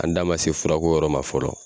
An da ma se furako yɔrɔ ma fɔlɔ